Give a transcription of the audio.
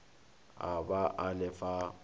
a ba a le fa